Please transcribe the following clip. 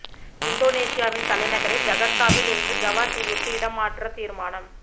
இந்தோனேசியாவின் தலைநகரை ஜகர்தாவில் இருந்து ஜாவா தீவிற்கு இடம் மாற்ற தீர்மானம்